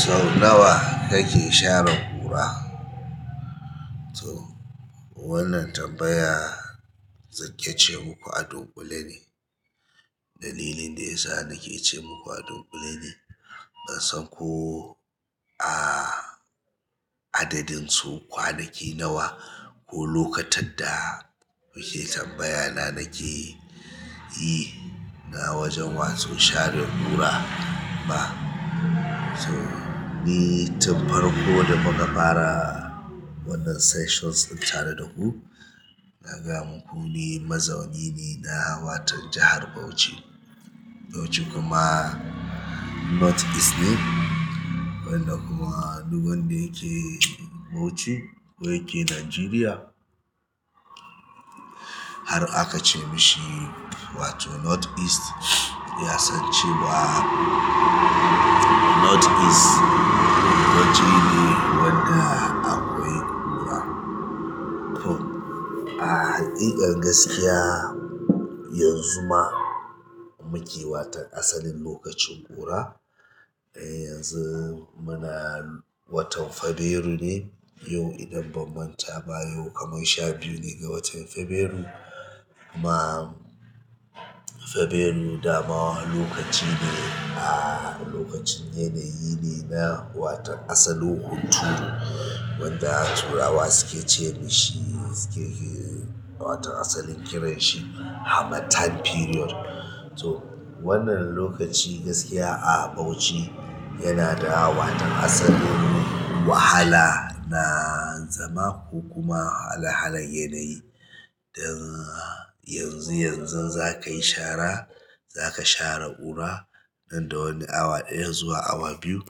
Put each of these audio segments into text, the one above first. Sau nawa kake share ƙura? To wannan tambaya, zan ce muku adun kulle ne. Dalilin da ya sa nake ce ma ku adon kulle ne, ban san ko a adadin so kwanaki nawa ko lokatar da muke tambaya na nake yi, na wajen wasu share ƙura ba. So ni tun farko da muka fara wannan sessions tare da ku, na gaya muku ni mazauni ne na hawa ta jahar Bauchi. Bauchi kuma North East ne. Wanda kuma duk wanda yake Bauchi ko yake Nigeria, har aka ce mishi wato North East, ya san cewa North East Bauchi ne wanda akwai ƙura. To a ahakika gaskiya yanzu ma muke wato asalin lolacin ƙura. Yanzu muna watan fabairu ne, yau idan banman ta baya kamun sha biyu ne ga watan fabairu. Kuma febrairu dama lokaci ne a na yanayi ne na asalin hunturu wato to wannan lokaci gaskiya a Bauchi yana da hawa ta asalin wahala na zama ko kuma halin halin yanayi. Dan yanzu, yanzu za ka yi shara, za ka share ƙura nan da wani awa ɗaya zuwa awa biyu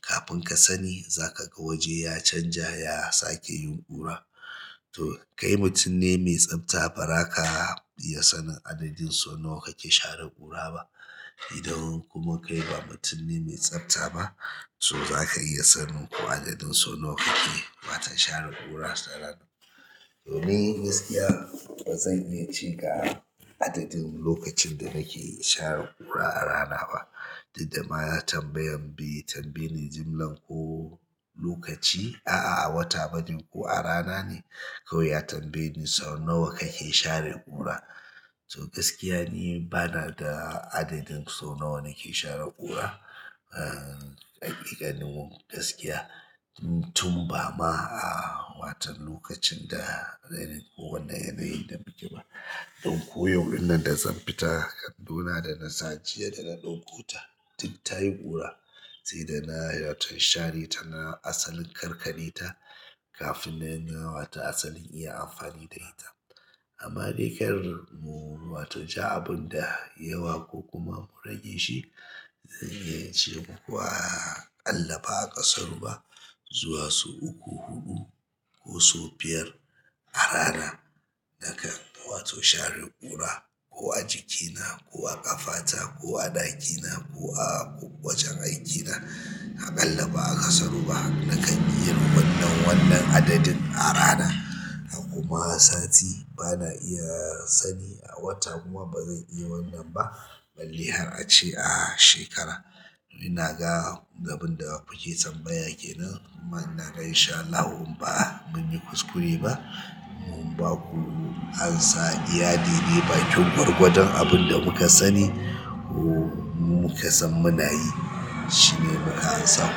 kafin ka sani za ka ga waje ya canja, ya sake yin ƙura. To kai mutum ne mai tsafta, ba za ka iya sanin adadin sau nawa kake share ƙura ba. Idan kuma kai ba mutum ne mai tsafta ba, to za ka iya sanin ko adadin sau nawa kake watan share ƙura a rana. To ni gaskiya ba zan iya ce ga adadin lokacin da nake share ƙura a rana ba. Dak dama ya tambayan bi, tambaye ni jimlan ko lokaci a wata ba ne ko a rana ne. Kawai ya tambe ni sau nawa kake share ƙura. To gaskiya ni bana da adadin sau nawa nake share ƙura. A gaskiya ni tunbama ba yananyin da muke ciki ba don koyau ɗin nan da zan fita, kandona da na sace da na ɗauko ta, duk ta yi ƙura. Sai da na yi wata share ta na asalin karka kaɗe ta kafin na yi wata asalin iya amfani da ita. Amma da ƙyar mu wato ja abun da yawa ko kuma mu rage shi, zan iya ce muku aƙalla ba a ƙasaru ba, zuwa su uku, huɗu ko su biyar a rana. Nakan wato share ƙura ko a jikina ko a ƙafata ko a ɗakina ko a wajan aikina. Aƙalla ba'a kasaru ba nakan iya wannan adadin a rana hakuma sati bana iya sani a wata kuma ba zan iya wannan ba. Balli har ace a shekara. Ina ga abin da kuke tambaya kenan. Kuma ina ga in sha Allah mun yi kuskure ba. Mun ba ku amsa iya daidai, ba kin gwargwadon abin da muka sani ko muka san munayi shine muka amsa.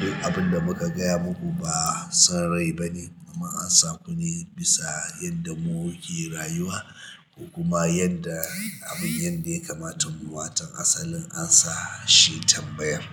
Duk abin da muka gaya muku ba san rai ba ne, amma amsa ne bisa yadda muke rayuwa. Kuma yanda abin yanda ya kamata mu watan asalin amsa shi tambaya.